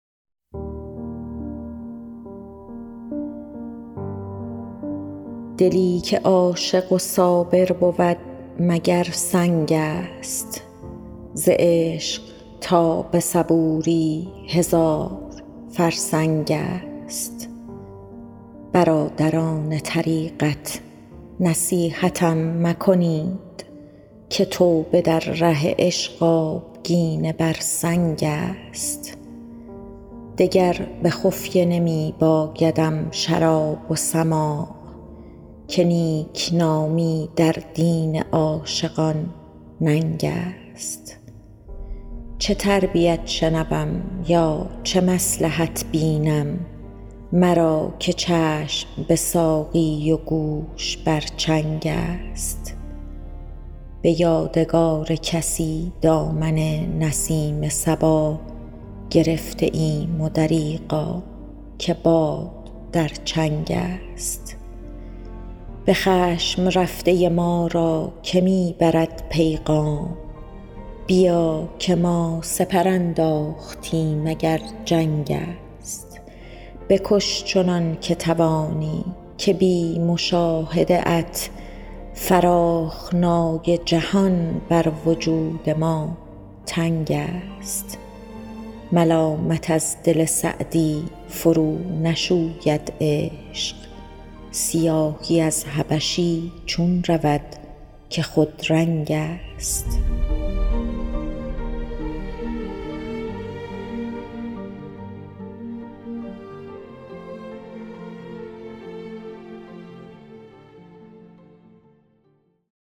دلی که عاشق و صابر بود مگر سنگ است ز عشق تا به صبوری هزار فرسنگ است برادران طریقت نصیحتم مکنید که توبه در ره عشق آبگینه بر سنگ است دگر به خفیه نمی بایدم شراب و سماع که نیکنامی در دین عاشقان ننگ است چه تربیت شنوم یا چه مصلحت بینم مرا که چشم به ساقی و گوش بر چنگ است به یادگار کسی دامن نسیم صبا گرفته ایم و دریغا که باد در چنگ است به خشم رفته ما را که می برد پیغام بیا که ما سپر انداختیم اگر جنگ است بکش چنان که توانی که بی مشاهده ات فراخنای جهان بر وجود ما تنگ است ملامت از دل سعدی فرونشوید عشق سیاهی از حبشی چون رود که خودرنگ است